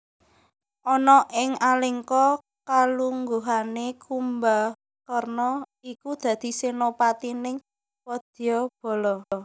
Ana ing Alengka kalungguhané Kumbakarna iku dadi senopatining wadyabala